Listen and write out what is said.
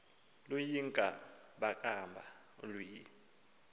luyinka bankaba ulwimi